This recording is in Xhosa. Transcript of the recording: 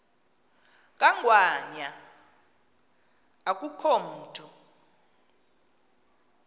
kangwanya akukho mntu